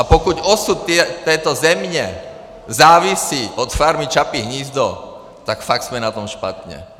A pokud osud této země závisí na Farmy Čapí hnízdo, tak fakt jsme na tom špatně.